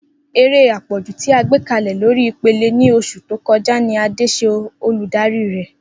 Ere apọju ti a gbekalẹ lori ipele ni oṣu to kọja ni Ade ṣe oludari rẹ.